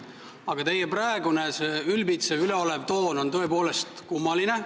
Aga teie praegune ülbitsev ja üleolev toon on tõepoolest kummaline.